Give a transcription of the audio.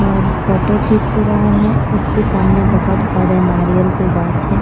और फोटो खींच रहा है उसके सामने बहुत सारे नारियल के घास हैं।